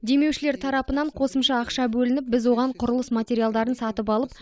демеушілер тарапынан қосымша ақша бөлініп біз оған құрылыс материалдарын сатып алып